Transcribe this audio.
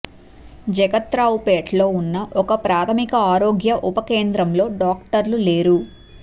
జగత్రావుపేటలో ఉన్న ఒక ప్రాథమిక ఆరోగ్య ఉప కేంద్రంలో డాక్టర్లు లేరు